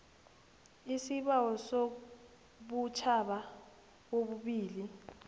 isibawo sobutjhaba obubili